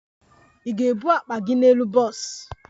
Ị ga-ebu akpa gị n'elu bọs?